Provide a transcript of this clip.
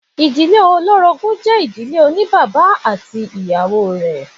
Ìdílé olórogún jẹ́ ìdílé oní bàbá ati awọn ìyàwó rẹ̀.